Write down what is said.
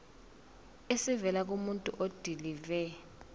esivela kumuntu odilive